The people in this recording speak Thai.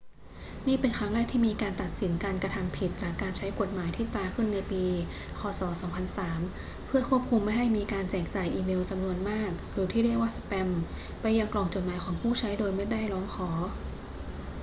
นี่เป็นครั้งแรกที่มีการตัดสินการกระทำผิดจากการใช้กฎหมายที่ตราขึ้นในปี ค. ศ. 2003 เพื่อควบคุมไม่ให้มีการแจกจ่ายอีเมลจำนวนมากหรือที่เรียกว่าสแปมไปยังกล่องจดหมายของผู้ใช้โดยไม่ได้ร้องขอ